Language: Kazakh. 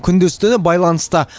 күндіз түні байланыста